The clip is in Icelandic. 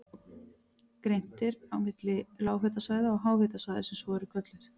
Greint er á milli lághitasvæða og háhitasvæða sem svo eru kölluð.